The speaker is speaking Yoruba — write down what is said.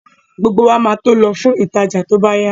Gbogbo wa máa tó lọ fún ìtajà tó bá yá